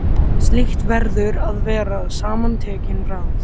Slíkt verður að vera samantekin ráð.